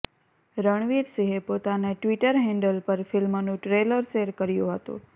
રણવીર સિંહે પોતાના Twitter handle પર ફિલ્મનું ટ્રેલર શેર કર્યુ હતું